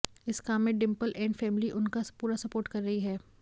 इस काम में डिंपल ऐंड फैमिली उनका पूरा सपोर्ट कर रही है